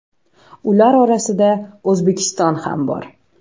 Ular orasida O‘zbekiston ham bor.